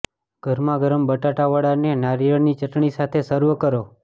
ગરમા ગરમ બટાટા વડાને નારિયેળની ચટણી સાથે સર્વ કરો